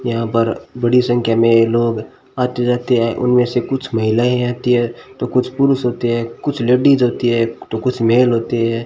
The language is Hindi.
यहां पर बड़ी संख्या में लोग आते जाते हैं उनमें से कुछ महिलाएं आती हैं तो कुछ पुरुष होते हैं कुछ लेडिस होती है तो कुछ मेल होती है।